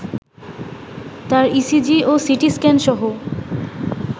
তার ইসিজি ও সিটিস্ক্যানসহ